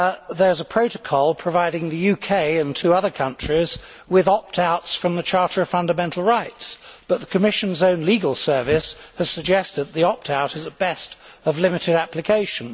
There is a protocol providing the UK and two other countries with opt outs from the Charter of Fundamental Rights, but the Commission's own Legal Service has suggested that the opt out is, at best, of limited application.